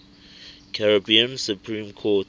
caribbean supreme court